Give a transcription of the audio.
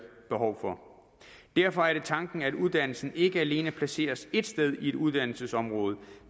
behov for derfor er det tanken at uddannelsen ikke alene placeres ét sted i et uddannelsesområde